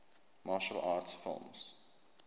martial arts film